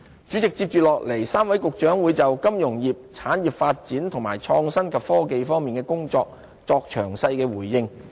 主席，接着 ，3 位局長會就金融業、產業發展和創新及科技方面的工作作出詳細回應。